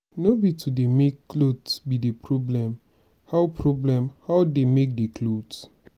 no be to dey make cloth be the problem how problem how dey make the cloth?